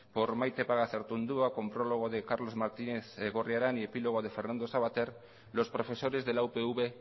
por maite pagazaurtundua con prólogo de carlos martínez gorriarán y epílogo de fernando savater los profesores de la upv